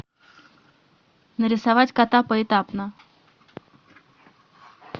нарисовать кота поэтапно